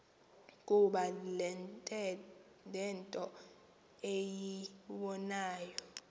kuba nento eyibonayo